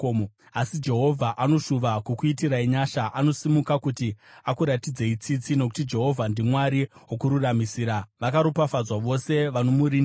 Asi Jehovha anoshuva kukuitirai nyasha; anosimuka kuti akuratidzei tsitsi. Nokuti Jehovha ndiMwari wokururamisira. Vakaropafadzwa vose vanomurindira!